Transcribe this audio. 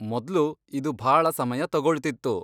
ಮೊದ್ಲು ಇದು ಭಾಳ ಸಮಯ ತಗೊಳ್ತಿತ್ತು.